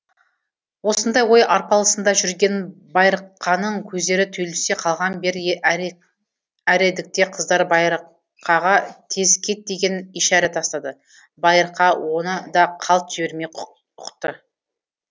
осындай ой арпалысында жүрген байырқаның көздері түйілісе қалған бір әредікте қыздар байырқаға тез кет деген ишәрә тастады байырқа оны да қалт жібермей ұқты